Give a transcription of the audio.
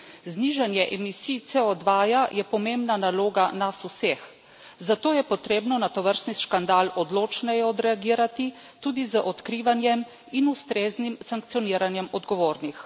Znižanje emisij CO2 je pomembna naloga nas vseh, zato je potrebno na tovrstni škandal odločneje odreagirati, tudi z odkrivanjem in ustreznim sankcioniranjem odgovornih.